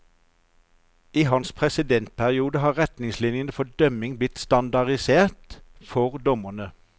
I hans presidentperiode har retningslinjene for dømming blitt standardisert for dommerne.